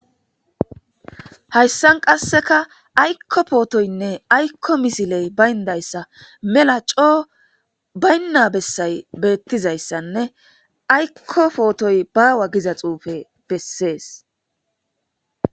Haysan qasseka aykko pootoynne aykko missiley bayndayssa mella coo bayna bessay bettizayssane aykko pootoy baawa giiza xuufe besses.